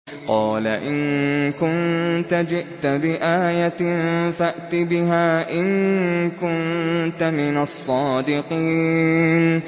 قَالَ إِن كُنتَ جِئْتَ بِآيَةٍ فَأْتِ بِهَا إِن كُنتَ مِنَ الصَّادِقِينَ